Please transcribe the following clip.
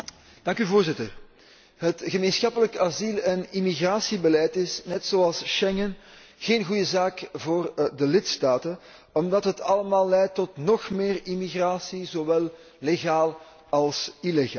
Voorzitter, het gemeenschappelijk asiel en immigratiebeleid is, net zoals Schengen, geen goede zaak voor de lidstaten, omdat het allemaal leidt tot nog meer immigratie, zowel legaal als illegaal.